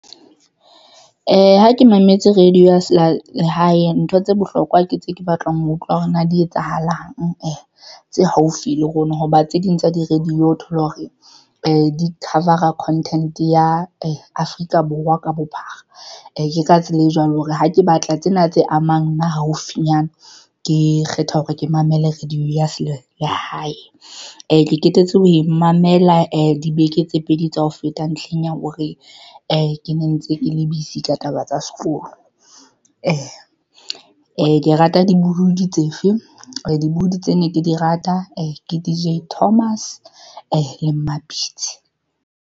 Ha ke mametse radio, ya se thole lehae, ntho tse bohlokwa ke tse ke batlang ho utlwa hore na di etsahalang I tse haufi le rona hoba tse ding tsa di radio o thole hore di cover-a content ya Afrika Borwa ka bophara. Ke ka tsela e jwalo hore ha ke batla tsena tse amang nna haufinyana ke kgetha hore ke mamele radio ya selehae le hae ee ke qetetse ho mamela ee dibeke tse pedi tsa ho feta ntlheng ya hore ee ke ne ntse ke le besey ka taba tsa sekolo ee. Ee, Ke rata dibuhudi tsefe, dibuhudi tse ne ke di rata ee, ke DJ Thomas le Mmapitsi.